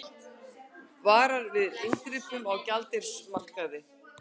Varar við inngripum á gjaldeyrismarkaði